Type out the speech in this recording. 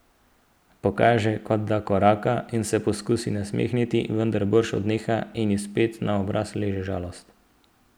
Pokaže, kot da koraka, in se poskusi nasmehniti, vendar brž odneha in spet ji na obraz leže žalost.